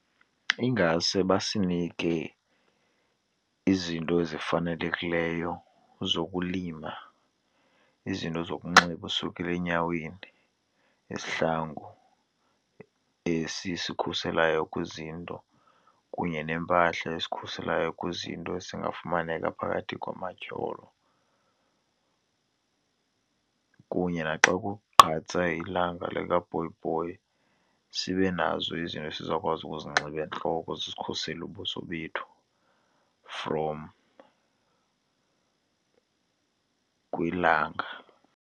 Ingase basinike izinto ezifanelekileyo zokulima, izinto zokunxiba usukela enyaweni, izihlangu esisikhuselayo kwizinto kunye neempahla esikhuselayo kwizinto ezingafumaneka phakathi kwamatyholo. Kunye naxa kugqatsa ilanga likabhobhoyi, sibe nazo izinto esizawukwazi uzinxiba entloko zikhuseli ubuso bethu from kwilanga.